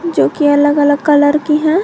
जो कि अलग अलग कलर की हैं।